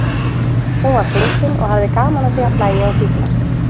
Hún var fyndin og hafði gaman af því að hlæja og fíflast.